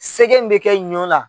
Sɛgɛ min bɛ kɛ ɲɔnla.